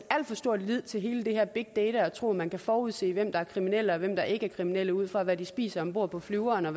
al for stor lid til hele det her med big data og tro at man kan forudse hvem der er kriminel og hvem der ikke er kriminel ud fra hvad de spiser om bord på flyveren og